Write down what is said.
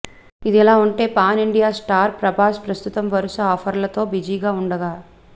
ఇదిలా ఉంటే pan India star Prabhas ప్రస్తుతం వరుస ఆఫర్ లతో బిజీగా ఉండగా